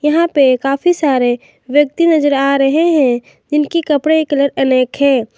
यहां पे काफी सारे व्यक्ति नजर आ रहे हैं जिनकी कपड़े का कलर अनेक है।